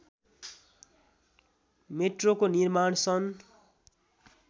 मेट्रोको निर्माण सन्